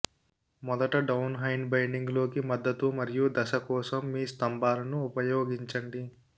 మొదట డౌన్హైండ్ బైండింగ్ లోకి మద్దతు మరియు దశ కోసం మీ స్తంభాలను ఉపయోగించండి